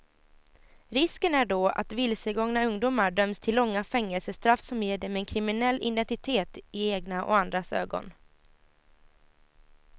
Risken är då att vilsegångna ungdomar döms till långa fängelsestraff som ger dem en kriminell identitet i egna och andras ögon.